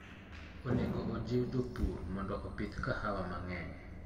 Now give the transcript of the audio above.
Onego ojiw jopur mondo opidh kahawa mang'eny.